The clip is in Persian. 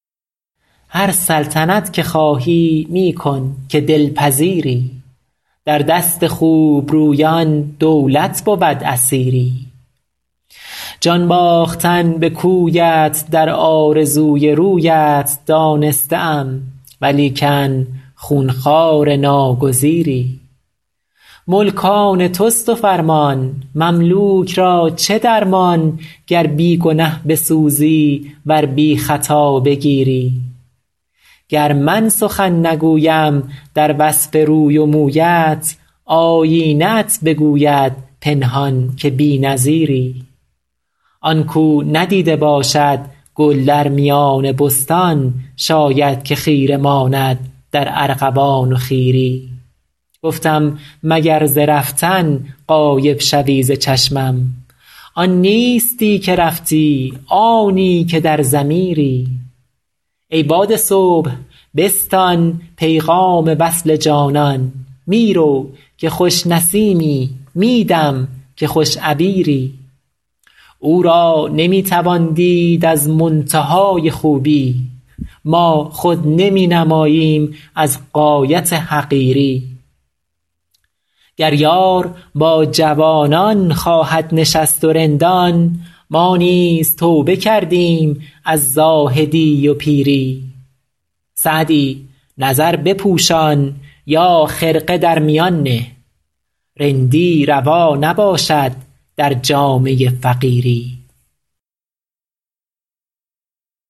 هر سلطنت که خواهی می کن که دل پذیری در دست خوب رویان دولت بود اسیری جان باختن به کویت در آرزوی رویت دانسته ام ولیکن خون خوار ناگزیری ملک آن توست و فرمان مملوک را چه درمان گر بی گنه بسوزی ور بی خطا بگیری گر من سخن نگویم در وصف روی و مویت آیینه ات بگوید پنهان که بی نظیری آن کاو ندیده باشد گل در میان بستان شاید که خیره ماند در ارغوان و خیری گفتم مگر ز رفتن غایب شوی ز چشمم آن نیستی که رفتی آنی که در ضمیری ای باد صبح بستان پیغام وصل جانان می رو که خوش نسیمی می دم که خوش عبیری او را نمی توان دید از منتهای خوبی ما خود نمی نماییم از غایت حقیری گر یار با جوانان خواهد نشست و رندان ما نیز توبه کردیم از زاهدی و پیری سعدی نظر بپوشان یا خرقه در میان نه رندی روا نباشد در جامه فقیری